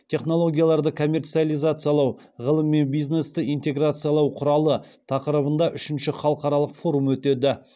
технологияларды коммерциализациялау ғылым мен бизнесті интеграциялау құралы тақырыбында үшінші халықаралық форум өтеді